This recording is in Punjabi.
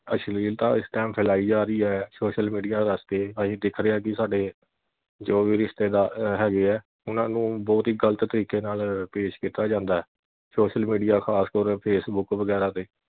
ਅਸ਼ਲੀਲਤਾ ਇਸ time ਫੈਲਾਈ ਜਾ ਰਹੀ ਐ social media ਰਸਤੇ ਅਸੀਂ ਦੇਖ ਰਹੇ ਆ ਕਿ ਸਾਡੇ ਜੋ ਵੀ ਰਿਸ਼ਤੇਦਾਰ ਹੈਗੇ ਆ ਉਨ੍ਹਾਂ ਨੂੰ ਬਹੁਤ ਹੀ ਗਲਤ ਤਰੀਕੇ ਨਾਲ ਪੇਸ਼ ਕੀਤਾ ਜਾਂਦਾ social media ਖਾਸ ਤੌਰ facebook ਵਗੈਰਾ ਤੇ